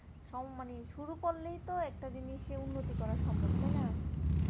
সব মানে শুরু করলেই তো একটা জিনিসে উন্নতি করা সম্ভব তাইনা